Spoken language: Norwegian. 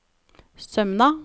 Sømna